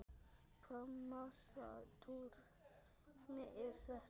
Hvaða massa túrismi er þetta?